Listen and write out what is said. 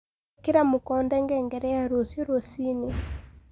ĩkĩra mũkonde ngengere ya rũcĩũ rũcĩĩnĩ